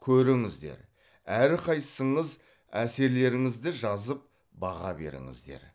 көріңіздер әрқайсыңыз әсерлеріңізді жазып баға беріңіздер